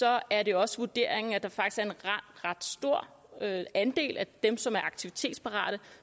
er det også vurderingen at der faktisk er en ret stor andel af dem som er aktivitetsparate